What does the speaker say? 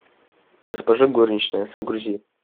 госпожа горничная загрузи